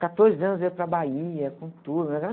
Com quatorze anos, eu ia para Bahia com turma. Era..